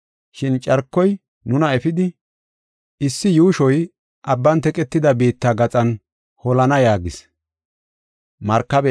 Shin carkoy nuna efidi issi yuushoy abban teqetida biitta gaxan holana” yaagis.